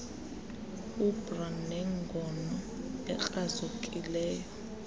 ubr nengono ekrazukileyo